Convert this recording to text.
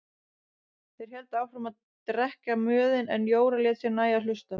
Þeir héldu áfram að drekka mjöðinn en Jóra lét sér nægja að hlusta.